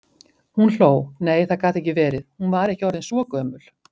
Hún hló, nei, það gat ekki verið, hún var ekki orðin svo gömul.